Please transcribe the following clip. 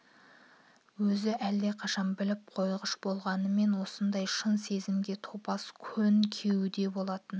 өзі әлдеқашан біліп қойғыш болғанмен осындай шын сезімге топас көн кеуде болатын